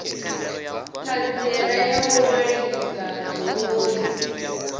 ṱhanziela ya u ṅwalisa goloi